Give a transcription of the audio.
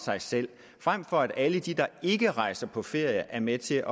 sig selv frem for at alle de der ikke rejser på ferie er med til